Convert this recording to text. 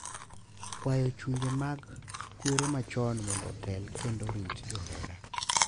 Kwayo chunje mag kwere machon mondo otel kendo orit johera